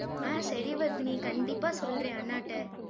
ஆஹ் சரி வர்தினி கண்டிப்பா சொல்றேன் அண்ணாட்ட